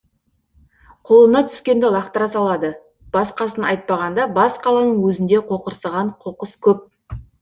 қолына түскенді лақтыра салады басқасын айтпағанда бас қаланың өзінде қоқырсыған қоқыс көп